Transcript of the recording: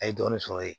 A ye dɔɔnin sɔrɔ yen